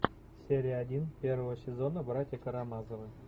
серия один первого сезона братья карамазовы